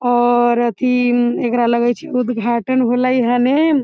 और अथी एकरा लगे छै उद्घाटन होले हने ।